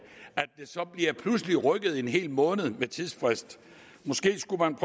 pludselig bliver rykket en hel måned ved tidsfristen måske skulle man